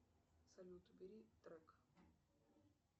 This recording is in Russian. салют убери трек